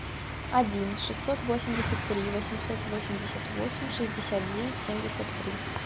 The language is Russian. один шестьсот восемьдесят три восемьсот восемьдесят восемь шестьдесят девять семьдесят три